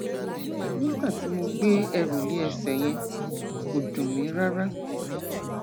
nígbà tí mo gbé ẹrù lé ẹsẹ yẹn kò dùn mí rárá